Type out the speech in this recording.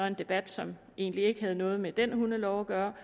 en debat som egentlig ikke havde noget med den hundelov at gøre